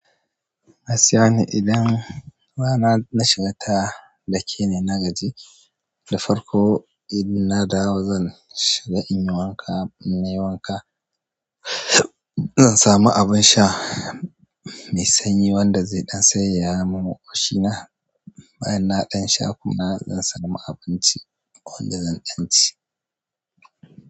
Na sani idan ba na shiga ta da ke ne na gaji, da farko idan na dawo zan shiga in yi wanka. In yi wanka zan sami abin sha mai sanyi wanda zai ɗan sayaya min ƙoshina. Bayan na ɗan sha kuma zan samu abinci wanda zan ɗan ci.